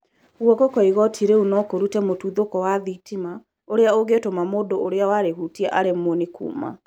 Gũoko kwa igoti rĩu no kũrute mũtuthũko wa thitima, ũrĩa ũngĩtũma mũndũ ũrĩa warĩhũtia aremwo nĩ kuuma